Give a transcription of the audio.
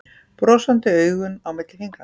Brosandi augun á milli fingranna.